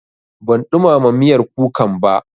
Ban ɗumama miyar kukan ba.